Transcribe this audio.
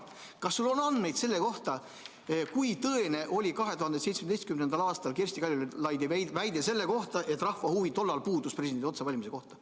Kas sul on andmeid selle kohta, kui tõene oli 2017. aastal Kersti Kaljulaidi väide, et see rahva huvi tollal puudus?